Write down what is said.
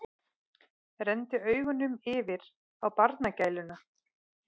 Renndi augunum yfir á barnagæluna.